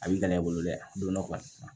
A b'i kana i bolo dɛ don dɔ kɔni